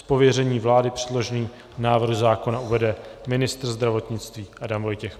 Z pověření vlády předložený návrh zákona uvede ministr zdravotnictví Adam Vojtěch.